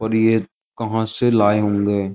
और ये कहां से लाये होंगे।